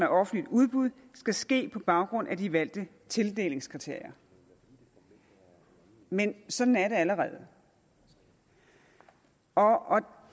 offentligt udbud skal ske på baggrund af de valgte tildelingskriterier men sådan er det allerede og og